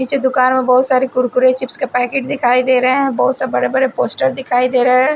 नीचे दुकान में बहोत सारी कुरकुरे चिप्स का पैकेट दिखाई दे रहे हैं बहोत सब बड़े बड़े पोस्टर दिखाई दे रहे हैं।